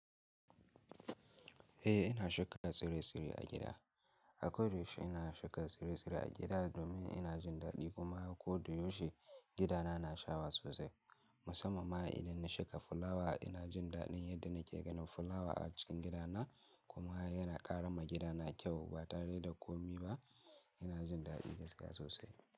Eh ina shuka tsire-tsire a gida. A koyaushe ina shuka tsire-tsire a gida domin ina jin daɗi kuma koyaushe gidana na shawa sosai. Musamman ma idan na shuka fulawa ina jin daɗin yadda nake ganin fulawa a cikin gidana kuma yana ƙara ma gidana kyau ba tare da komi ba. Ina jin daɗi gaskiya sosai.